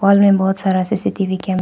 हाल में बहुत सारा सीसीटीवी कैमरा --